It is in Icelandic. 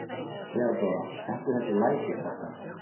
THEODÓRA: Ekki þessi læti, krakkar.